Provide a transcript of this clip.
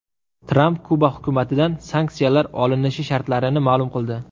Tramp Kuba hukumatidan sanksiyalar olinishi shartlarini ma’lum qildi.